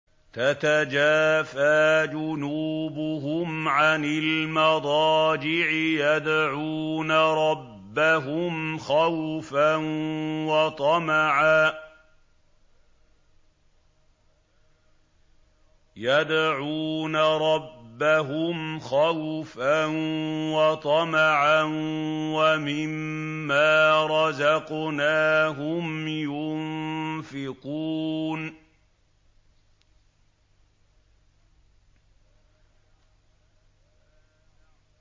تَتَجَافَىٰ جُنُوبُهُمْ عَنِ الْمَضَاجِعِ يَدْعُونَ رَبَّهُمْ خَوْفًا وَطَمَعًا وَمِمَّا رَزَقْنَاهُمْ يُنفِقُونَ